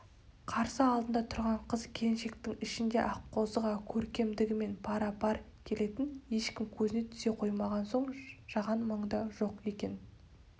қарсы алдында тұрған қыз-келіншектің ішінде аққозыға көркемдігімен пара-пар келетін ешкім көзіне түсе қоймаған соң жаған мұнда жоқ екен